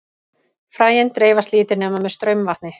fræin dreifast lítið nema með straumvatni